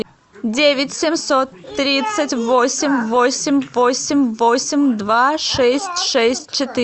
девять семьсот тридцать восемь восемь восемь восемь два шесть шесть